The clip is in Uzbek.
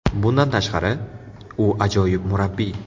Bundan tashqari, u ajoyib murabbiy.